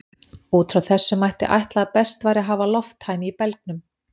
Út frá þessu mætti ætla að best væri að hafa lofttæmi í belgnum.